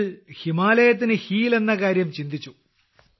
നിങ്ങൾ ഹിമാലയത്തിനു ഹീൽ എന്ന കാര്യം ചിന്തിച്ചു